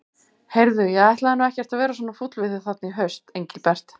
Heyrðu. ég ætlaði nú ekkert að vera svona fúll við þig þarna í haust, Engilbert.